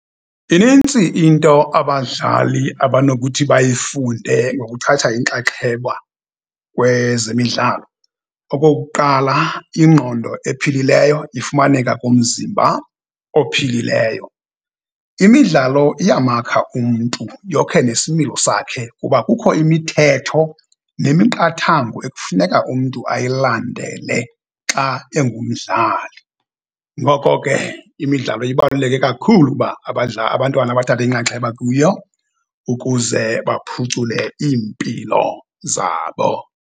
Inintsi into abadlali abanokuthi bayifunde ngokuthatha inxaxheba kwezemidlalo. Okokuqala, ingqondo ephilileyo ifumaneka kumzimba ophilileyo. Imidlalo iyamakha umntu yokhe nesimilo sakhe kuba kukho imithetho nemiqathango ekufuneka umntu ayilandele xa engumdlali. Ngoko ke, imidlalo ibaluleke kakhulu uba abantwana bathathe inxaxheba kuyo ukuze baphucule iimpilo zabo.